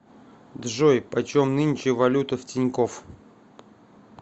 джой почем нынче валюта в тинькоф